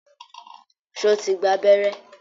Sọ ti gba abẹ́rẹ́?